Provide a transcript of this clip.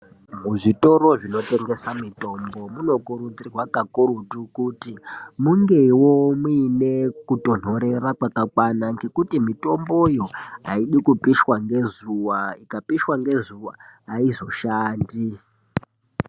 Muzvitoro zvinotengesa mitombo munokurudzirwa kakurutu kuti mungewo muine kutonhorera kwakakwana, ngekuti mitomboyo ,aidi kupishwa ngezuwa. Ikapishwa ngezuwa ayizoshandi.